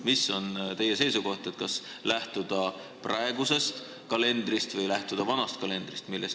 Mis on teie seisukoht, kas peaks lähtuma praegusest kalendrist või vanast kalendrist?